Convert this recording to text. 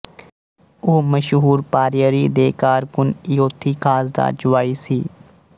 ਉਹ ਮਸ਼ਹੂਰ ਪਾਰੇਯਰੀ ਦੇ ਕਾਰਕੁਨ ਈਯੋਥੀ ਥਾਸ ਦਾ ਜਵਾਈ ਸੀ